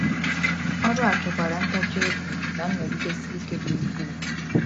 Ọrụ a chọkwara ntachi obi na nnọgidesi ike dị ukwuu.